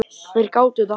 Þeir gátu þetta.